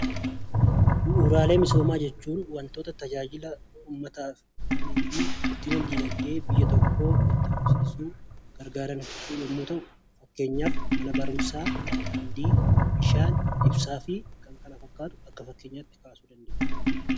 Bu'uuraalee misoomaa jechuun wantoota tajaajila uummataa fi guddina dinagdee biyya tokkoof gargaaran yommuu ta'u, kan akka mana barumsaa, daandii, ibsaa fi kan kana fakkaatan kan qabatedha.